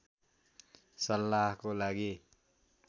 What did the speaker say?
सल्लाहको लागि